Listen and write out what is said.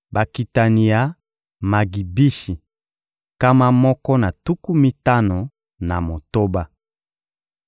Bakitani ya Magibishi: nkama moko na tuku mitano na motoba.